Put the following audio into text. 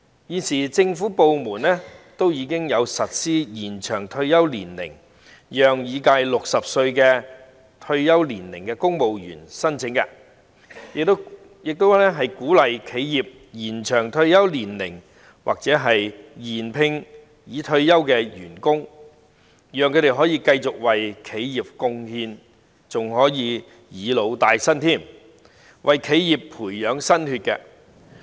現時政府部門已經實施延長退休年齡的安排，讓已屆60歲退休年齡的公務員申請，亦鼓勵企業延長退休年齡或續聘已退休的員工，讓他們可以繼續為企業貢獻，還可"以老帶新"，為企業培養新血。